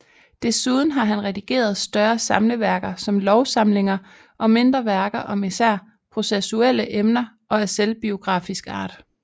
Desuden har han redigeret større samleværker som lovsamlinger og mindre værker om især processuelle emner og af selvbiografisk art